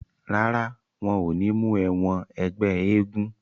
Rárá, wọn ò ní mú ẹ wọn ẹgbẹ́ eégún.